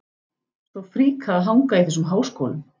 Svo fríkað að hanga í þessum háskólum!